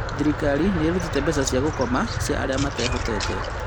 Thirikari nĩ ĩrutĩte mbeca cia gukoma cia arĩa matehotete